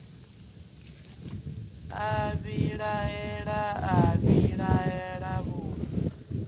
a vhilaela a vhilaela vhuḓe